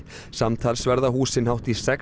samtals verða húsin hátt í sex